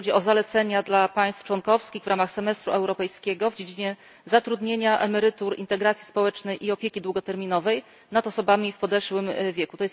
Chodzi o zalecenia dla państw członkowskich w ramach semestru europejskiego w dziedzinie zatrudnienia, emerytur, integracji społecznej i opieki długoterminowej nad osobami w podeszłym wieku.